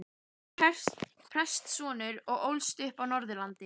Hann var prestssonur og ólst upp á Norðurlandi.